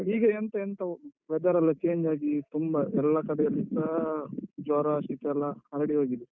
ಈಗ ಎಂತ ಎಂತ weather ಎಲ್ಲ change ಆಗಿ ತುಂಬ ಎಲ್ಲ ಕಡೆಯಲ್ಲಿಸ ಜ್ವರ, ಶೀತ ಎಲ್ಲ ಹರಡಿ ಹೋಗಿದೆ.